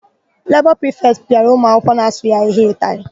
Lebọ prịfetị pịara ụmụakwụkwọ na-asụghị ahịhịa ụtalị.